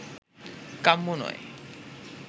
কাম্য নয়